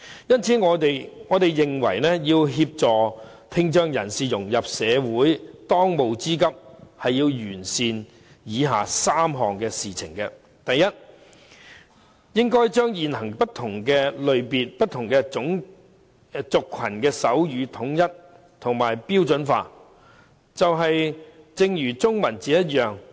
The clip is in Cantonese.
因此，我們認為要協助聽障人士融入社會，當務之急是要完善以下3項事情：第一，應該將現行不同類別、不同族群的手語統一和標準化，正如統一中文字一樣。